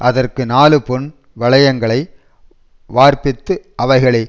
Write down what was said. அதற்கு நாலு பொன் வளையங்களை வார்ப்பித்து அவைகளை